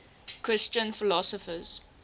christian philosophers